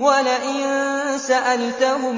وَلَئِن سَأَلْتَهُم